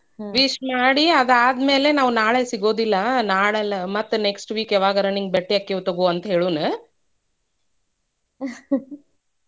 wish ಮಾಡಿ ಅದ ಆದ್ಮೇಲೆ ನಾವ ನಾಳೆ ಸಿಗೋದಿಲ್ಲಾ ನಾಳೆ ಅಲ್ಲ ಮತ್ತ next week ಯಾವಾಗಾರ ನಿಂಗ್ ಭೆಟ್ಟಿ ಅಕ್ಕಿವ್ ತುಗೋ ಅಂತ ಹೇಳುಣ. .